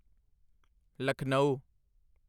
Lucknow